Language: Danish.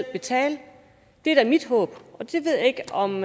betale det er da mit håb jeg ved ikke om